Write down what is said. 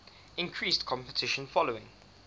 increased competition following